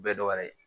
Bɛɛ dɔwɛrɛ ye